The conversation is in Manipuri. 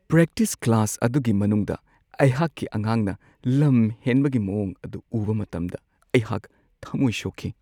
ꯄ꯭ꯔꯦꯛꯇꯤꯁ ꯀ꯭ꯂꯥꯁ ꯑꯗꯨꯒꯤ ꯃꯅꯨꯡꯗ ꯑꯩꯍꯥꯛꯀꯤ ꯑꯉꯥꯡꯅ ꯂꯝ ꯍꯦꯟꯕꯒꯤ ꯃꯋꯣꯡ ꯑꯗꯨ ꯎꯕ ꯃꯇꯝꯗ ꯑꯩꯍꯥꯛ ꯊꯝꯃꯣꯏ ꯁꯣꯛꯈꯤ ꯫